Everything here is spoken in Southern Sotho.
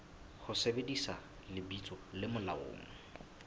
ho sebedisa lebitso le molaong